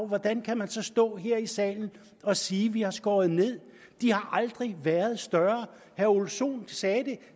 hvordan kan man så stå her i salen og sige at vi har skåret ned de har aldrig været større herre ole sohn sagde det